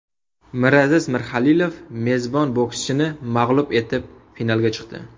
Miraziz Mirzahalilov mezbon bokschini mag‘lub etib finalga chiqdi.